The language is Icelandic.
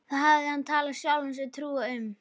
Það hafði hann talið sjálfum sér trú um.